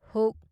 ꯍ